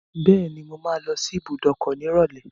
Bẹ́ẹ̀ni, mo máa lọ sí ibùdókọ̀ nírọ̀lẹ́.